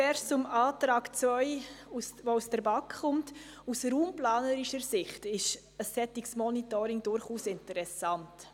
Zuerst zum Antrag 2, der aus der BaK kommt: Aus raumplanerischer Sicht ist ein solches Monitoring durchaus interessant.